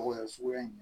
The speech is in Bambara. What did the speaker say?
Wa suguya in